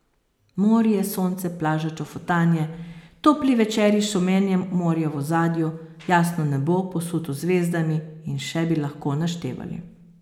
Morje, sonce, plaža, čofotanje, topli večeri s šumenjem morja v ozadju, jasno nebo, posuto z zvezdami, in še bi lahko naštevali.